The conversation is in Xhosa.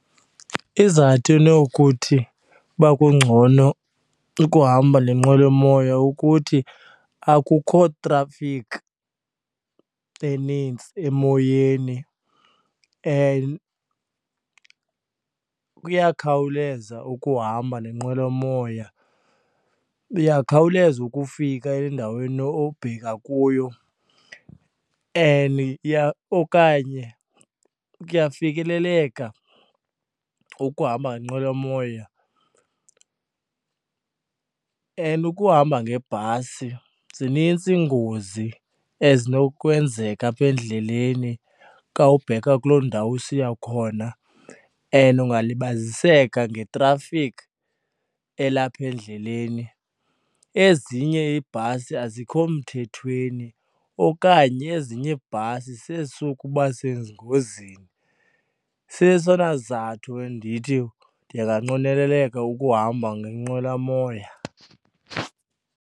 Izizathu enokuthi uba kungcono ukuhamba le nqwelomoya ukuthi akukho trafikhi enintsi emoyeni and kuyakhawuleza ukuhamba nenqwelomoya, uyakhawuleza ukufika endaweni obheka kuyo. And okanye kuyafikeleleka ukuhamba ngenqwelomoya and ukuhamba ngebhasi zinintsi iingozi ezinokwenzeka apha endleleni kawubheka kuloo ndawo usiya khona and ungalibaziseka ngetrafikhi elapha endleleni. Ezinye iibhasi azikho mthethweni okanye ezinye iibhasi sezisuka ubasezingozini, sesona zizathu endithi ndinganqweneleleka ukuhamba ngenqwelomoya.